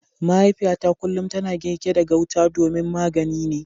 Mahaifiyata kullum tana girki da gauta domin magani ne.